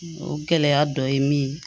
O gɛlɛya dɔ ye min